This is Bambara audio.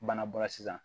Bana bɔra sisan